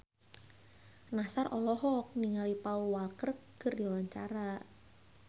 Nassar olohok ningali Paul Walker keur diwawancara